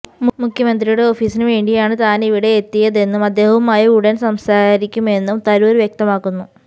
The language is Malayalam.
മുഖ്യമന്ത്രിയുടെ ഓഫീസിന് വേണ്ടിയാണ് താനിവിടെ എത്തിയതെന്നും അദ്ദേഹവുമായി ഉടന് സംസാരിക്കുമെന്നും തരൂര് വ്യക്തമാക്കുന്നു